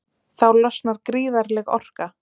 Þá losnar gríðarleg orka.